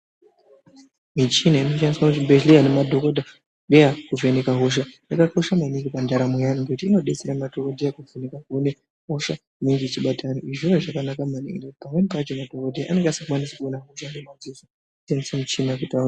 Mishini inoshandiswa muzvibhedhlera nemadhokota heya kuvheneka hosha yakakosha maningi mundaramo dzevanhu ngekuti inobetsera madhokodeya kuvheneka kuone hosha inenge ichibata vanhu izvona zvakanaka maningi nekuti pamweni pachoo anenge asingakwanise kuona ngemadziso, anoshandise mishina kuti aone.